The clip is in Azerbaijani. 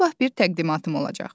Sabah bir təqdimatım olacaq.